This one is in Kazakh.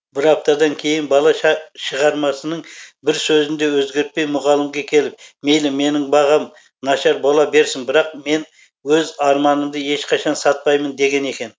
бір аптадан кейін бала шығармасының бір сөзін де өзгертпей мұғалімге келіп мейлі менің бағам нашар бола берсін бірақ мен өз арманымды ешқашан сатпаймын деген екен